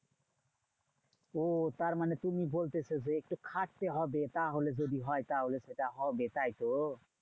ওহ তারমানে তুমি বলতেছো যে, একটু খাটতে হবে। তাহলে যদি হয় তাহলে সেটা হবে, তাইতো?